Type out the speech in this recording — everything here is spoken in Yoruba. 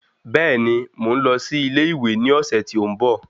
Bẹ́ẹ̀ni, mò ń lọ sí ilé ìwé ní ọ̀sẹ̀ tí ó ń bọ̀